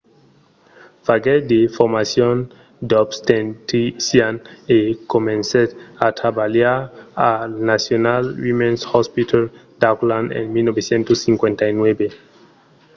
faguèt de formacions d'obstetrician e comencèt a trabalhar al national women's hospital d'auckland en 1959